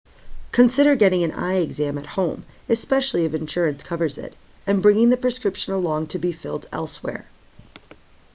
consider getting an eye exam at home especially if insurance covers it and bringing the prescription along to be filed elsewhere